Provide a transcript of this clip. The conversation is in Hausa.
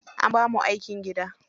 An bamu aikin gida.